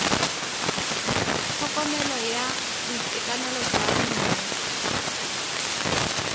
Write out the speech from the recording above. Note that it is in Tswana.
tlhokomelo ya boitekanelo jwa bomme